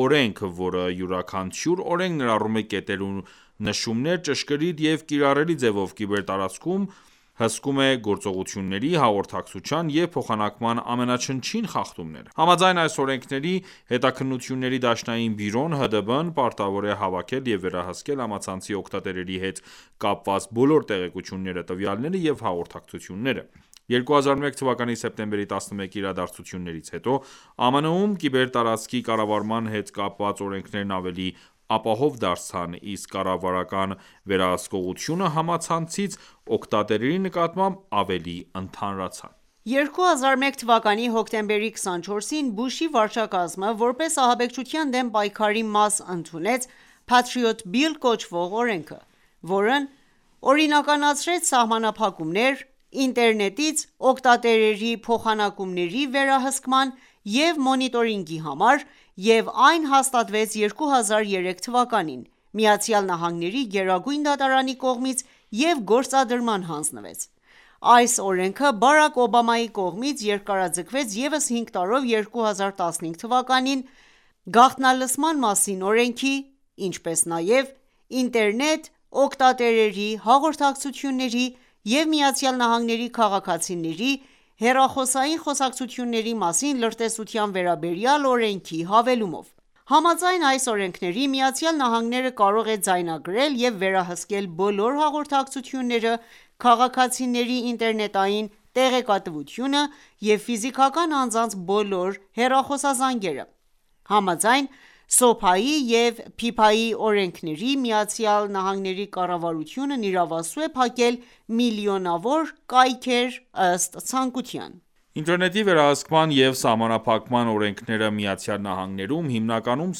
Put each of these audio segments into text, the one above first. օրենք, որը յուրաքանչյուր օրենք ներառում է կետեր ու նշումներ ճշգրիտ և կիրառելի ձևով կիբերտարածքում հսկում է գործողությունների, հաղորդակցության և փոխանակման ամենաչնչին խախտումները: Համաձայն այս օրենքների՝ Հետաքննությունների դաշնային բյուրոն (ՀԴԲ) պարտավոր է հավաքել և վերահսկել համացանցի օգտատերերի հետ կապված բոլոր տեղեկությունները, տվյալները և հաղորդակցությունները: 2001 թվականի սեպտեմբերի 11-ի իրադարձություններից հետո ԱՄՆ-ում կիբերտարածքի կառավարման հետ կապված օրենքներն ավելի ապահով դարձան, իսկ կառավարական վերահսկողությունը համացանցից օգտատերերի նկատմամբ՝ ավելի ընդհանրացան։ 2001 թվականի հոկտեմբերի 24-ին Բուշի վարչակազմը որպես ահաբեկչության դեմ պայքարի մաս ընդունեց «Patriot Bill» կոչվող օրենքը, որն օրինականացրեց սահմանափակումներ ինտերնետից օգտատերերի փոխանակումների վերահսկման և մոնիտորինգի համար և այն հաստատվեց 2003թ.-ին ԱՄՆ-ի Գերագույն դատարանի կողմից և գործադրման հանձնվեց: Այս օրենքը Բարաք Օբամայի կողմից երկարաձգվեց ևս 5 տարով 2015թ.-ին՝ գաղտնալսման մասին օրենքի, ինչպես նաև ինտերնետ օգտատերերի հաղորդակցությունների և ԱՄՆ-ի քաղաքացիների հեռախոսային խոսակցությունների մասին լրտեսության վերաբերյալ օրենքի հավելումով: Համաձայն այս օրենքների՝ Միացյալ Նահանգները կարող է ձայնագրել և վերահսկել բոլոր հաղորդակցությունները, քաղաքացիների ինտերնետային տեղեկատվությունը և ֆիզիկական անձանց բոլոր հեռախոսազանգերը: Համաձայն SOPA-ի և PIPA-ի օրենքների՝ ԱՄՆ կառավարությունն իրավասու է փակել միլիոնավոր կայքեր՝ ըստ ցանկության: Ինտերնետի վերահսկման և սահմանափակման օրենքները Միացյալ Նահանգներում հիմնականում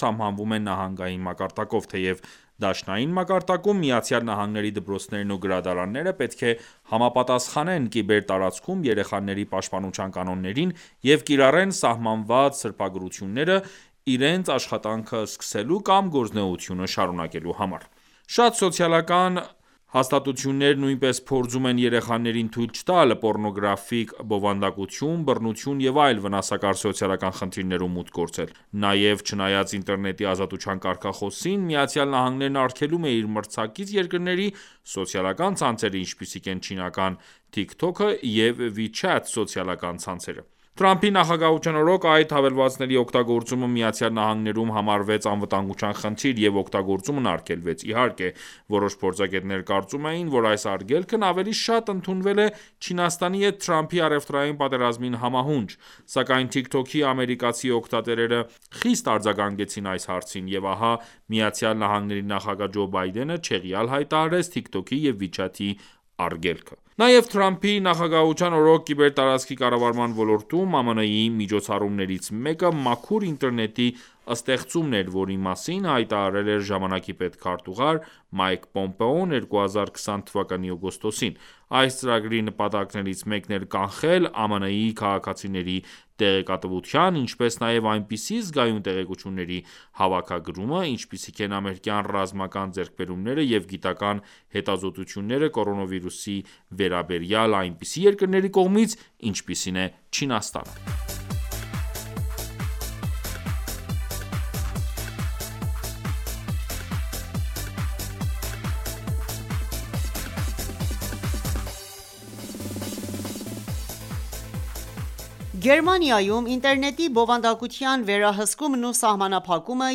սահմանվում են նահանգային մակարդակով, թեև դաշնային մակարդակում ԱՄՆ-ի դպրոցներն ու գրադարանները պետք է համապատասխանեն կիբերտարածքում երեխաների պաշտպանության կանոններին և կիրառեն սահմանված սրբագրությունները իրենց աշխատանքը սկսելու կամ գործունեությունը շարունեկելու համար: Շատ սոցիալական հաստատություններ նույնպես փորձում են երեխաներին թույլ չտալ պոռնոգրաֆիկ բովանդակություն, բռնություն և այլ վնասակար սոցիալական խնդիրներում մուտք գործել: Նաև, չնայած ինտերնետի ազատության կարգախոսին, ԱՄՆ-ն արգելում է իր մրցակից երկրների սոցիալական ցանցերը, ինչպիսիք են չինական «Tik Tok» և «WeChat» սոցիալական ցանցերը: Թրամփի նախագահության օրոք այդ հավելվածների օգտագործումը Միացյալ Նահանգներում համարվեց անվտանգության խնդիր և օգտագործումն արգելվեց։ Իհարկե, որոշ փորձագետներ կարծում էին, որ այս արգելքն ավելի շատ ընդունվել է Չինաստանի հետ Թրամփի առևտրային պատերազմին համահունչ։ Սակայն Tik Tok-ի ամերիկացի օգտատերերը խիստ արձագանքեցին այս հարցին, և ահա Միացյալ Նահանգների նախագահ Ջո Բայդենը չեղյալ հայտարարեց Tik Tok-ի և WeChat-ի արգելքը: Նաև Թրամփի նախագահության օրոք կիբերտարածքի կառավարման ոլորտում ԱՄՆ-ի միջոցառումներից մեկը Մաքուր ինտերնետի ստեղծումն էր, որի մասին հայտարարել էր ժամանակի պետքարտուղար Մայք Պոմպեոն 2020 թվականի օգոստոսին։ Այս ծրագրի նպատակներից մեկն էր կանխել ԱՄՆ-ի քաղաքացիների տեղեկատվության, ինչպես նաև այնպիսի զգայուն տեղեկությունների հավաքագրումը, ինչպիսիք են ամերիկյան ռազմական ձեռքբերումները և գիտական հետազոտությունները կորոնավիրուսի վերաբերյալ այնպիսի երկրների կողմից, ինչպիսին է Չինաստանը: Գերմանիայում ինտերնետի բովանդակության վերահսկումն ու սահմանափակումը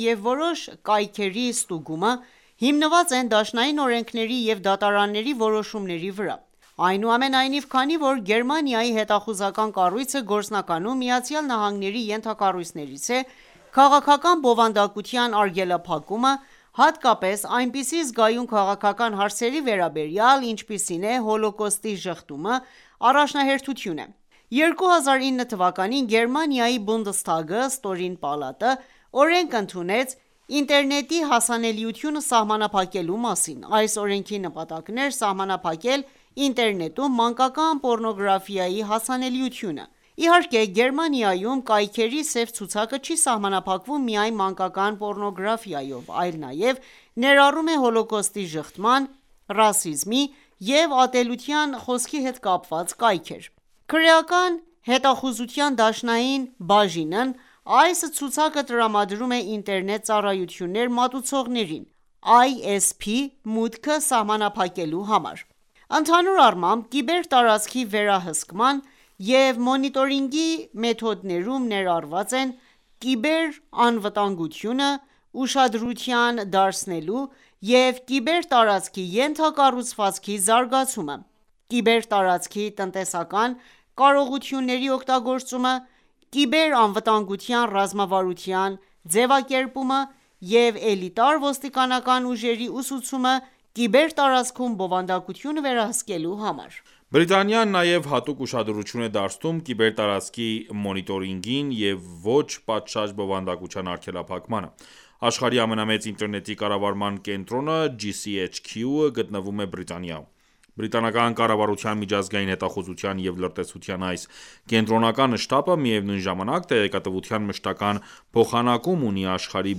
և որոշ կայքերի ստուգումը հիմնված են դաշնային օրենքների և դատարանների որոշումների վրա: Այնուամենայնիվ, քանի որ Գերմանիայի հետախուզական կառույցը գործնականում ԱՄՆ-ի ենթակառույցներից է, քաղաքական բովանդակության արգելափակումը, հատկապես այնպիսի զգայուն քաղաքական հարցերի վերաբերյալ, ինչպիսին է Հոլոքոստի ժխտումը, առաջնահերթություն է: 2009 թվականին Գերմանիայի Բունդեսթագը (ստորին պալատը) օրենք ընդունեց ինտերնետի հասանելիությունը սահմանափակելու մասին։ Այս օրենքի նպատակն էր սահմանափակել ինտերնետում մանկական պոռնոգրաֆիայի հասանելիությունը: Իհարկե, Գերմանիայում կայքերի սև ցուցակը չի սահմանափակվում միայն մանկական պոռնոգրաֆիայով, այլ նաև ներառում է Հոլոքոստի ժխտման, ռասիզմի և ատելության խոսքի հետ կապված կայքեր: Քրեական հետախուզության դաշնային բաժինն այս ցուցակը տրամադրում է ինտերնետ ծառայություններ մատուցողներին (ISP)՝ մուտքը սահմանափակելու համար: Ընդհանուր առմամբ, կիբեր տարածքի վերահսկման և մոնիտորինգի մեթոդներում ներառված են կիբերանվտանգությանը ուշադրություն դարձնելը և կիբեր տարածքի ենթակառուցվածքի զարգացումը, կիբերտարածքի տնտեսական կարողությունների օգտագործումը, կիբերանվտանգության ռազմավարության ձևակերպումը և էլիտար ոստիկանական ուժերի ուսուցումը կիբեր տարածքում բովանդակությունը վերահսկելու համար: Բրիտանիան նաև հատուկ ուշադրություն է դարձնում կիբերտարածքի մոնիտորինգին և ոչ պատշաճ բովանդակության արգելափակմանը: Աշխարհի ամենամեծ ինտերնետի կառավարման կենտրոնը GCHQ-ը գտնվում է Բիրտանիայում: Բրիտանական կառավարության միջազգային հետախուզության և լրտեսության այս կենտրոնական շտաբը, միևնույն ժամանակ, տեղեկատվության մշտական փոխանակում ունի աշխարհի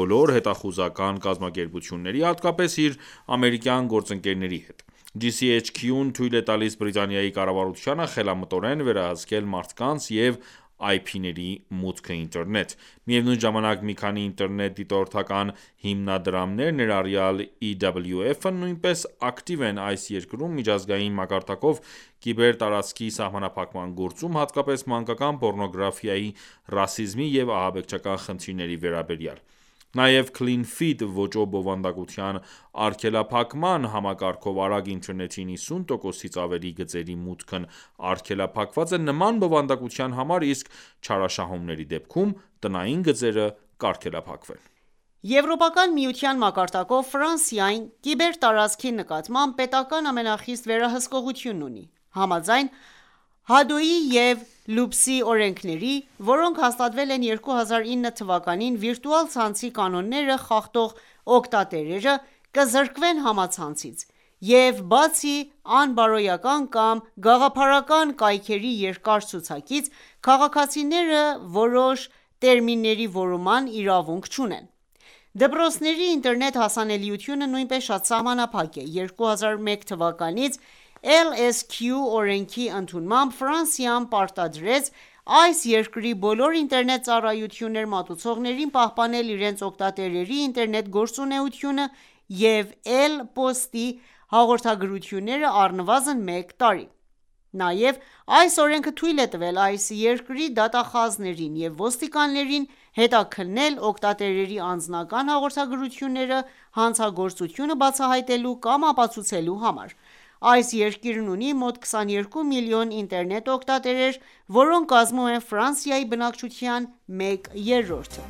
բոլոր հետախուզական կազմակերպությունների, հատկապես իր ամերիկյան գործընկերների հետ։ GCHQ-ն թույլ է տալիս Բրիտանիայի կառավարությանը խելամտորեն վերահսկել մարդկանց և IP-ների մուտքը ինտերնետ: Միևնույն ժամանակ, մի քանի ինտերնետ դիտորդական հիմնադրամներ, ներառյալ EWF-ն, նույնպես ակտիվ են այս երկրում միջազգային մակարդակով կիբերտարածքի սահմանափակման գործում, հատկապես մանկական պոռնոգրաֆիայի, ռասիզմի և ահաբեկչական խնդիրների վերաբերյալ: Նաև «Clean Feed» ոճով բովանդակության արգելափակման համակարգով արագ ինտերնետի 90%-ից ավելի գծերի մուտքն արգելափակված է նման բովանդակության համար, իսկ չարաշահումների դեպքում՝ տնային գծերը կարգելափակվեն: Եվրոպական միության մակարդակով Ֆրանսիան կիբերտարածքի նկատմամբ պետական ամենախիստ վերահսկողությունն ունի։ Համաձայն Hadoui-ի և Lupsi-ի օրենքների, որոնք հաստատվել են 2009 թվականին, վիրտուալ ցանցի կանոնները խախտող օգտատերերը կզրկվեն համացանցից, և բացի անբարոյական կամ գաղափարական կայքերի երկար ցուցակից, քաղաքացիները որոշ տերմինների որոնման իրավունք չունեն: Դպրոցների ինտերնետ հասանելիությունը նույնպես շատ սահմանափակ է: 2001 թվականինց LSQ օրենքի ընդունմամբ Ֆրանսիան պարտադրեց այս երկրի բոլոր ինտերնետ ծառայություններ մատուցողներին պահպանել իրենց օգտատերերի ինտերնետ գործունեությունը և էլ. Փոստի հաղորդագրությունները առնվազն մեկ տարի: Նաև այս օրենքը թույլ է տվել այս երկրի դատախազներին և ոստիկաններին հետաքննել օգտատերերի անձնական հաղորդագրությունները՝ հանցագործությունը բացահայտելու կամ ապացուցելու համար։ Այս երկիրն ունի մոտ 22 միլիոն ինտերնետ օգտատեր, որոնք կազմում են Ֆրանսիայի բնակչության մեկ երրորդը։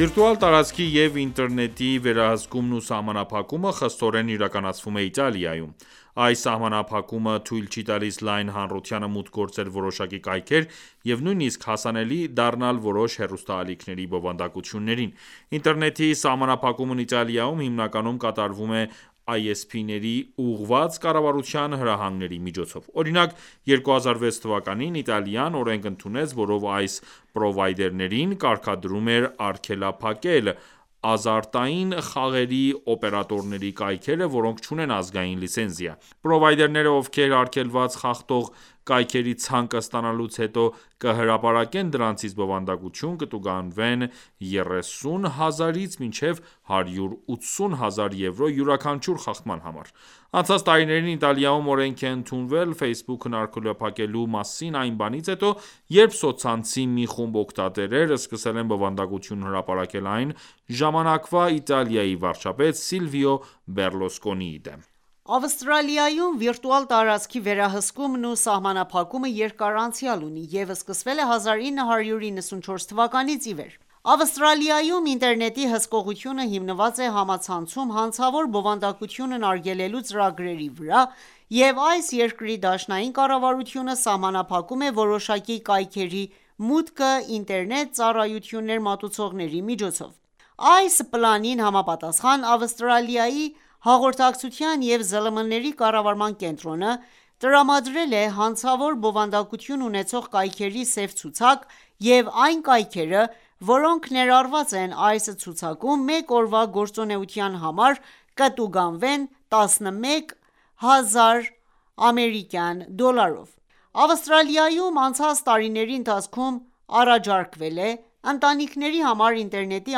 Վիրտուալ տարածքի և ինտերնետի վերահսկումն ու սահմանափակումը խստորեն իրականացվում է Իտալիայում: Այս սահմանափակումը թույլ չի տալիս լայն հանրությանը մուտք գործել որոշակի կայքեր և նույնիսկ հասանելի դառնալ որոշ հեռուստաալիքների բովանդակություններին: Ինտերնետի սահմանափակումն Իտալիայում հիմնականում կատարվում է ISP-ներին ուղղված կառավարության հրահանգների միջոցով: Օրինակ, 2006թ.-ին Իտալիան օրենք ընդունեց, որով այս պրովայդերներին կարգադրում էր արգելափակել ազարտային խաղերի օպերատորների կայքերը, որոնք չունեն ազգային լիցենզիա: Պրովայդերները, ովքեր արգելված խախտող կայքերի ցանկը ստանալուց հետո, կհրապարակեն դրանցից բովանդակություն, կտուգանվեն 30,000-ից մինչև 180,000 եվրո յուրաքանչյուր խախտման համար: Անցած տարիներին Իտալիայում օրենք է ընդունվել Facebook-ն արգելափակելու մասին այն բանից հետո, երբ սոցցանցի մի խումբ օգտատերեր սկսել են բովանդակություն հրապարակել այն ժամանակվա Իտալիայի վարչապետ Սիլվիո Բեռլուսկոնիի դեմ։ Ավստրալիայում վիրտուալ տարածքի վերահսկումն ու սահմանափակումը երկար անցյալ ունի և սկսվել է 1994 թ.-ից ի վեր: Ավստրալիայում ինտերնետի հսկողությունը հիմնված է համացանցում հանցավոր բովանդակությունն արգելելու ծրագրերի վրա, և այս երկրի դաշնային կառավարությունը սահմանափակում է որոշակի կայքերի մուտքը ինտերնետ ծառայություններ մատուցողների միջոցով: Այս պլանին համապատասխան՝ Ավստրալիայի «Հաղորդակցության և ԶԼՄ-ների կառավարման կենտրոնը» տրամադրել է հանցավոր բովանդակություն ունեցող կայքերի սև ցուցակ, և այն կայքերը, որոնք ներառված են այս ցուցակում, մեկ օրվա գործունեության համար կտուգանվեն 11,000 ԱՄՆ դոլարով: Ավստրալիայում անցած տարիների ընթացքում առաջարկվել է «Ընտանիքների համար ինտերնետի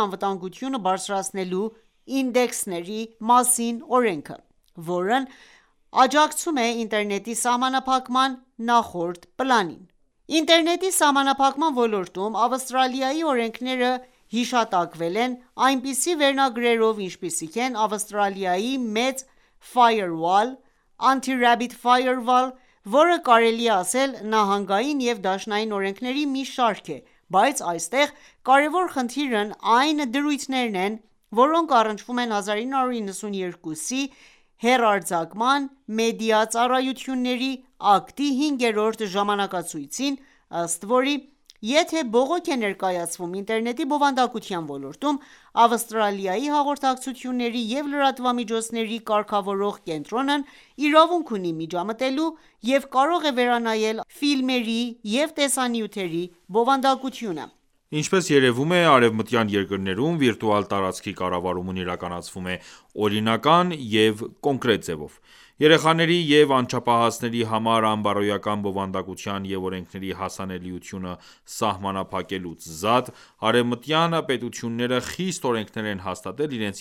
անվտանգությունը բարձրացնելու ինդեքսներ»-ի մասին օրենքը, որն աջակցում է ինտերնետի սահմանափակման նախորդ պլանին։ Ինտերնետի սահմանափակման ոլորտում Ավստրալիայի օրենքները հիշատակվել են այնպիսի վերնագրերով, ինչպիսիք են Ավստրալիայի մեծ firewall, Anti-Rabbit Firewall, որը կարելի է ասել նահանգային և դաշնային օրենքների մի շարք է, բայց այստեղ կարևոր խնդիրն այն դրույթներն են, որոնք առնչվում են 1992թ. հեռարձակման մեդիա ծառայությունների ակտի հինգերորդ ժամանակացույցին, ըստ որի, եթե բողոք է ներկայացվում ինտերնետի բովանդակության ոլորտում, Ավստրալիայի հաղորդակցությունների և լրատվամիջոցների կարգավորող կենտրոնն իրավունք ունի միջամտելու և կարող է վերանայել առցանց ֆիլմերի և տեսանյութերի բովանդակությունը: Ինչպես երևում է, արևմտյան երկրներում վիրտուալ տարածքի կառավարումն իրականացվում է օրինական և կոնկրետ ձևով։ Երեխաների և անչափահասների համար անբարոյական բովանդակության և օրենքների հասանելիությունը սահմանափակելուց զատ, արևմտյան պետությունները խիստ օրենքներ են հաստատել իրենց